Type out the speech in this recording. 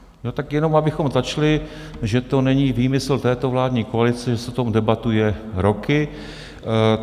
Tak jenom abychom začali, že to není výmysl této vládní koalice, že se o tom debatuje roky.